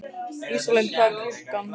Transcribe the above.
Ísalind, hvað er klukkan?